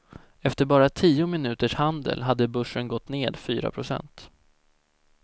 Efter bara tio minuters handel hade börsen gått ned fyra procent.